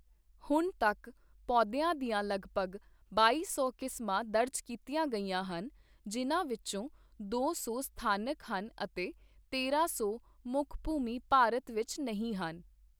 ਹੁਣ ਤੱਕ, ਪੌਦਿਆਂ ਦੀਆਂ ਲਗਭਗ ਬਾਈ ਸੌ ਕਿਸਮਾਂ ਦਰਜ ਕੀਤੀਆਂ ਗਈਆਂ ਹਨ, ਜਿਨ੍ਹਾਂ ਵਿੱਚੋਂ ਦੋ ਸੌ ਸਥਾਨਕ ਹਨ ਅਤੇ ਤੇਰਾਂ ਸੌ ਮੁੱਖ ਭੂਮੀ ਭਾਰਤ ਵਿੱਚ ਨਹੀਂ ਹਨ।